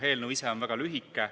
Eelnõu ise on väga lühike.